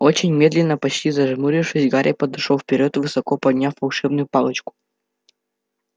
очень медленно почти зажмурившись гарри пошёл вперёд высоко подняв волшебную палочку